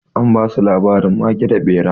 An ba su labarin mage da ɓera.